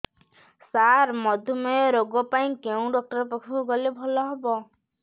ସାର ମଧୁମେହ ରୋଗ ପାଇଁ କେଉଁ ଡକ୍ଟର ପାଖକୁ ଗଲେ ଭଲ ହେବ